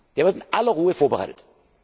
Der wird in aller Ruhe vorbereitet.